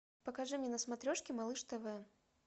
покажи мне на смотрешке малыш тв